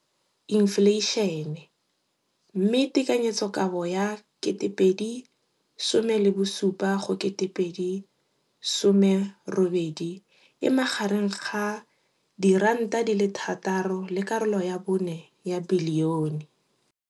Infleišene, mme tekanyetsokabo ya 2017 go 2018 e magareng ga R6.4 bilione.